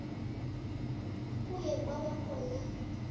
kuye kwaba khona